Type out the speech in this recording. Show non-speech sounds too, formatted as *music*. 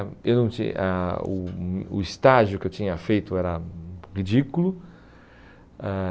*unintelligible* o O estágio que eu tinha feito era ridículo. Ãh